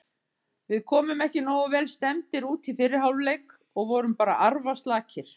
Við komum ekki nógu vel stemmdir út í fyrri hálfleik og vorum bara arfaslakir.